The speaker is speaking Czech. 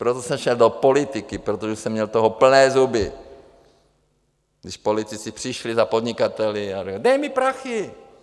Proto jsem šel do politiky, protože jsem měl toho plné zuby, když politici přišli za podnikateli a řekli: Dej mi prachy.